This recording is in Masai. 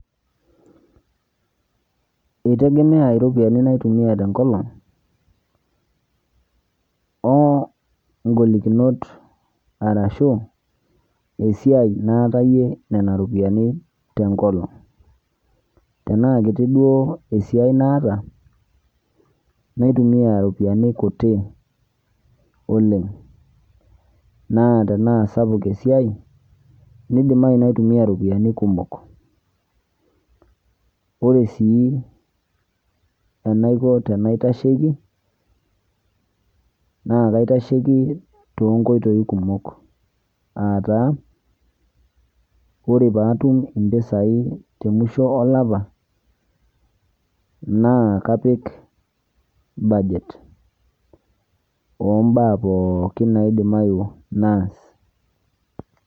Eitegemea iropiani naitumia tenkolong oo ingolikinot arashuu esiai naatayie nena ropiyani tenkolong. Tenaakiti duo esiai naata naitumia iropiani kuti oleng', naa tenaa sapuk esiai neidimayu naitumia iropiani kumok. Ore sii enaiko tenaitasheki naa kaitasheiki toonkoitoi kumok aataa ore paatum impisai temusho olapa naa kapik budget ombaa pooki naidimayu naas.